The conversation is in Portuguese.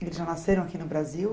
Eles já nasceram aqui no Brasil?